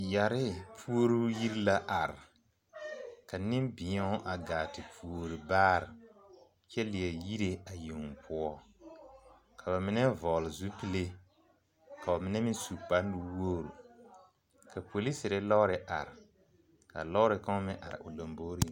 Yɛre puoruu yiri la are ka nenbeɛo gaa te puori baare kyɛ leɛ yire a yeŋ poɔ ka ba mine vɔgle zupile ka ba mine su kparenuwogre ka polisere lɔɔre are ka lɔɔre kaŋa meŋ are o lomboreŋ.